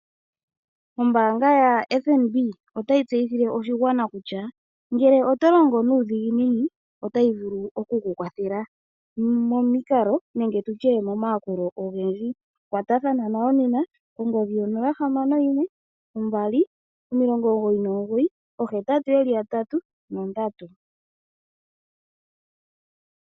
Ombaanga ya FNB otayi tseyithile oshigwana kutya ngele oto longo nuudhiginini otayi vulu oku kunkwathela, momikalo nenge tutye momayakulo ogendji. Kwatathana nayo nena kongodhi 0612998883.